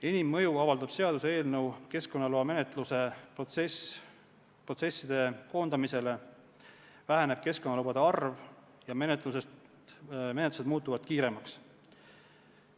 Enim mõju avaldab seaduseelnõu keskkonnaloa menetlusprotsesside koondamisele, väheneb keskkonnalubade arv ja menetlused muutuvad kiiremaks.